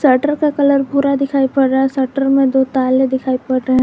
Shutter का colour भूरा दिखाई पड़ रहा है शटर में दो ताले दिखाई पड़ रहे है।